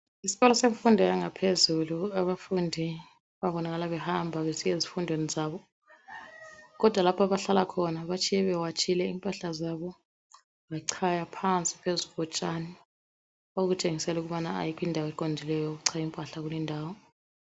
Isikolo semfundo yangaphezulu abafundi babonakala behamba besiya ezifundweni zabo, kodwa lapho abahlala khona batshiye bewatshile impahla zabo becaya phansi phezulu kotshani okutshengisela ukubana akula indawo eqondile yokucaya impahla kulindawo.